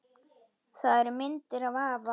Það eru myndir af afa